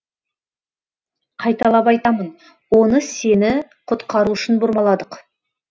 қайталап айтамын оны сені құтқару үшін бұрмаладық